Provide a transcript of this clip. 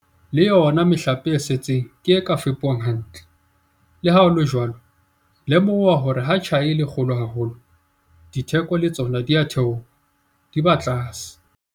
Le yona mehlape e setseng ke e ka fepuwang hantle. Le ha ho le jwalo, lemoha hore ha tjhai e le kgolo haholo, ditheko le tsona di a theoha, di ba tlase.